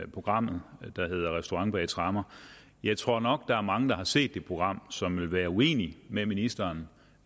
programmet der hedder restaurant bag tremmer jeg tror nok at der er mange der har set det program som vil være uenige med ministeren